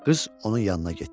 Qız onun yanına getdi.